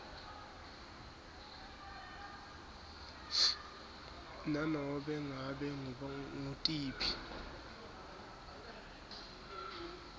nanobe ngabe ngutiphi